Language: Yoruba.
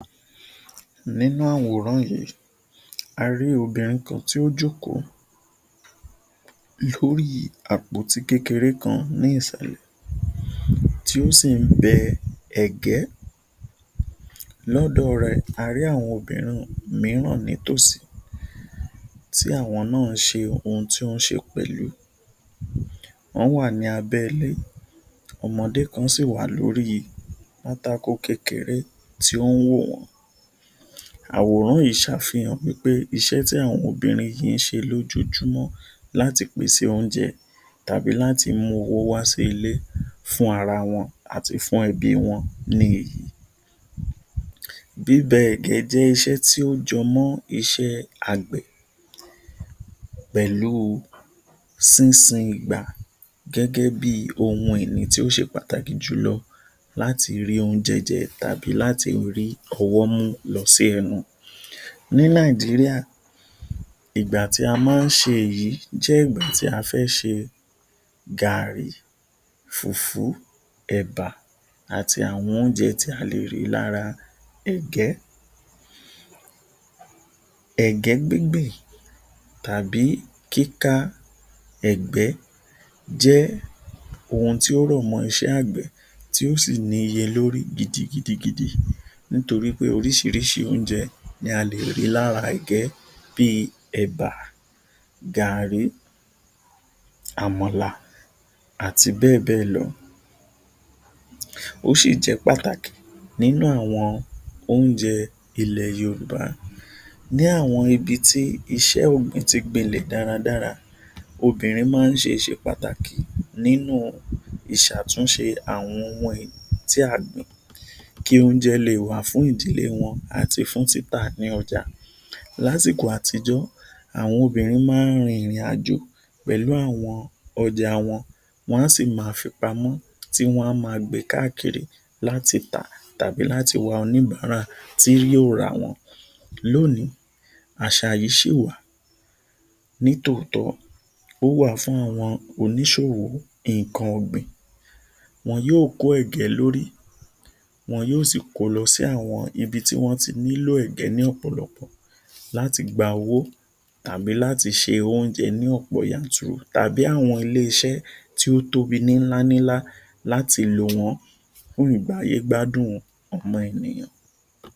Nínú àwòrán yìí, a rí obìnrin kan tí ó jókòó lórí àpótí kékeré kan ni ìsàlẹ̀ tí ó sí ń bẹ ẹ̀gẹ́, lọ́dọ̀ rẹ a rí àwọn mìíràn nítòsí tí àwọn náà ṣe ohun tí wọn ń ṣe pẹ̀lú, wọn wá ní abẹ́ ilẹ̀ yìí, ọmọdé kan sì wà lórí pátákò kékeré tí wọn ń wo ìran, àwòrán yìí ṣàfìhàn iṣẹ́ tí àwọn obìnrin yìí ṣe lójoojúmọ́ láti pèsè oúnjẹ tàbí mú owó wá sílé fún ara wọn àti fún ẹbí wọn ní. Bíbẹ ẹ̀gẹ́ ni iṣẹ́ tí ó jẹ mọ iṣẹ́ agbẹ̀ pẹ̀lú sínsin igba gẹ́gẹ́ bí ohun ìní tí ó ṣe pàtàkì jù lọ láti rí oúnjẹ jẹ tàbí láti rí ọwọ́ mu lọ sí ẹnu. Ní Nàìjíríà, ìgbà tí a máa ń ṣe èyí jẹ́ ìgbà tí a fẹ́ ṣe Gàárì, Fùfú, Ẹbà àti àwọn oúnjẹ tí a lè rí lára ẹ̀gẹ́. Ẹ̀gẹ́ gbíngbìn tàbí kíká, ẹ̀gẹ́ jẹ́ ohun tí ó rọ̀ mọ iṣẹ́ agbẹ̀ tí ó sì níye lórí gidigidi gidi nítorí pé oríṣiríṣi oúnjẹ ní a lè rí lára ẹ̀gẹ́ bí, Ẹbà, Gàárì, Àmàlà, àti bẹ́ẹ̀ bẹ́ẹ̀ lọ. Ó ṣì jẹ́ pàtàkì nínú àwọn oúnjẹ ilẹ̀ Yorùbá. Ní àwọn ibi tí iṣẹ́ ọgbìn tí gbìn lẹ̀ dáradára, obìnrin máa ń ṣe ìṣe pàtàkì nínú ìṣàtúnṣe àwọn ohun tí a gbìn kí ó jẹ lè wá fún ìdílé wọn àti wá fún ìta tí ọjà. Lásìkò àtijọ́, àwọn obìnrin máa ń rin ìrìn àjò pẹ̀lú àwọn ọjà wọn, wọn á sí máa fi pamọ́, wá sí máa bẹ̀ káàkiri láti tà tàbí láti wá oníbàárà tí yóò ra wọn. Lónìí, àṣà yìí ṣí wà ní tòótọ́, ó wà fún àwọn oníṣòwò nǹkan ọgbìn, wọ́n yóò kó ẹ̀gẹ́ lórí, wọn yóò sì kó lọ sí àwọn ibi tí wọn tí nílò ẹ̀gẹ́ lọ́pọ̀lọ́pọ̀ láti gba owó tàbí láti ṣe oúnjẹ yanturu tàbí àwọn iléeṣẹ́ tí ó tóbi ni ńlá ńlá láti lọ ṣe láti lo wọn fún ìgbé ayé gbádùn ọmọ ènìyàn.